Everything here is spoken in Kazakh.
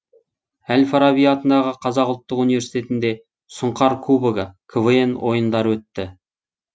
әл фараби атындағы қазақ ұлттық университетінде сұңқар кубогы квн ойындары өтті